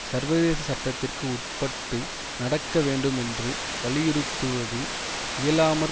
சர்வதேச சட்டத்திற்கு உட்பட்டு நடக்க வேண்டும் என்று வலியுறுத்துவது இயலாமற்